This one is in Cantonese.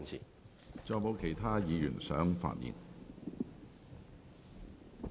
是否有其他議員想發言？